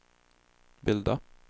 bilda